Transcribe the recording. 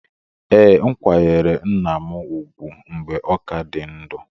Ee, m kwanyere nna m ugwu mgbe ọ ka dị ndụ